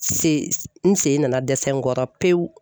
Se n sen nana dɛsɛ n kɔrɔ pewu.